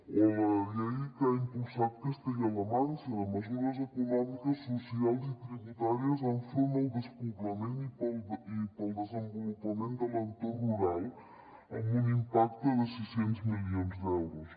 o la llei que ha impulsat castella la manxa de mesures econòmiques socials i tributàries enfront del despoblament i per al desenvolupament de l’entorn rural amb un impacte de sis cents milions d’euros